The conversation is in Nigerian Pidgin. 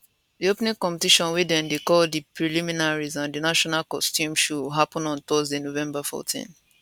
di opening competition wey dem dey call di preliminaries and di national costume show happun on thursday november 14